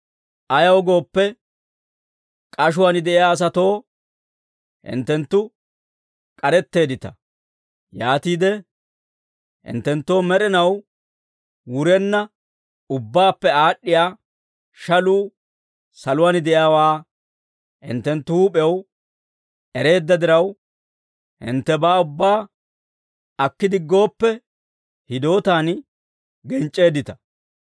Ayaw gooppe, k'ashuwaan de'iyaa asatoo hinttenttu k'aretteeddita; yaatiide hinttenttoo med'inaw wurenna ubbaappe aad'd'iyaa shaluu saluwaan de'iyaawaa hinttenttu huup'ew ereedda diraw, hinttebaa ubbaa akki diggooppe hidootaan genc'c'eeddita.